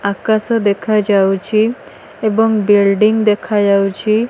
ଆକାଶ ଦେଖାଯାଉଛି ଏବଂ ବିଲ୍ଡିଙ୍ଗ ଦେଖାଯାଉଛି।